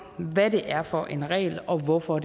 hvad det er for en regel og hvorfor